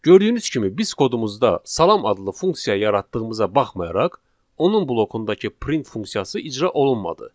Gördüyünüz kimi biz kodumuzda salam adlı funksiya yaratdığımıza baxmayaraq, onun blokundakı print funksiyası icra olunmadı.